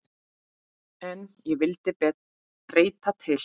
En ég vildi breyta til.